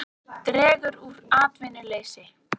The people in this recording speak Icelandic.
Dregur úr atvinnuleysi